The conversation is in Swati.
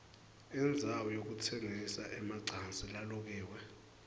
indzawo yekutsengisa emacansi lalukiwe